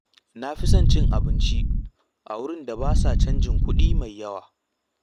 Na fi son cin abinci a wurin da ba sa cajin kuɗi mai yawa.